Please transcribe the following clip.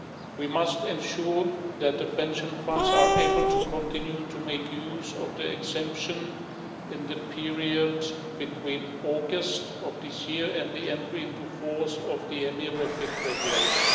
We must ensure that the pension funds are able to continue to make use of the exemption in the period between August of this year and the entry into force of the EMIR REFIT Regulation.